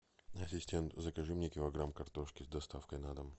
ассистент закажи мне килограмм картошки с доставкой на дом